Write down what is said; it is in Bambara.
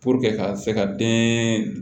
ka se ka den